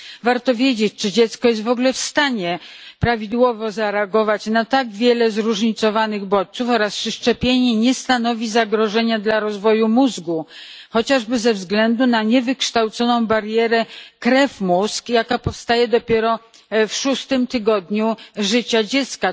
Warto wiedzieć, czy dziecko jest w ogóle w stanie prawidłowo zareagować na tak wiele zróżnicowanych bodźców oraz czy szczepienie nie stanowi zagrożenia dla rozwoju mózgu, chociażby ze względu na niewykształconą barierę krew mózg, jaka powstaje dopiero w szóstym tygodniu życia dziecka.